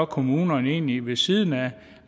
kommunerne egentlig gør ved siden af